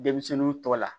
Denmisɛnninw tɔgɔ la